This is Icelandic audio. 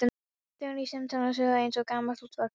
Þögnin í símtólinu suðaði eins og gamalt útvarpstæki.